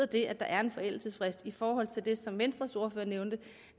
det at der er en forældelsesfrist betyder i forhold til det som venstres ordfører nævnte